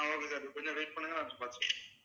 ஆஹ் okay sir கொஞ்ச நேரம் wait பண்ணுங்க நான் பாத்து